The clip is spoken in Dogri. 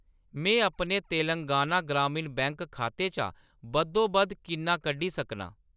में अपने तेलंगाना ग्रामीण बैंक खाते चा बद्धोबद्ध किन्ना कड्ढी सकनां ?